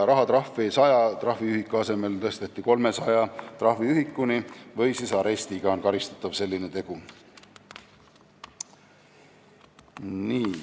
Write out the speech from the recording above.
Rahatrahvi tõsteti 100 trahviühiku asemel 300 trahviühikuni või siis on selline tegu karistatav arestiga.